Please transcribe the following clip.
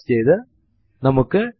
അതിൽ ചിലതിനെ നമുക്ക് ഇപ്പോൾ കാണാം